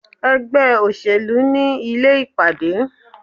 Ègbé òṣèlú ni Ilé ìpàdé